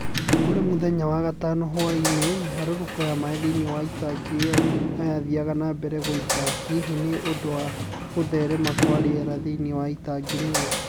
Kũrĩ mũthenya wa wagathano hwaĩ-inĩ, mĩharũrũko ya maĩ thĩinĩ wa tangi ĩyo no yaathiaga na mbere gũita , hihi nĩ ũndũ wa gũtherema kwa rĩera thĩinĩ wa itangi rĩu.